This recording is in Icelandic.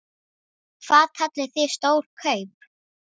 Hvað kallið þið stór kaup?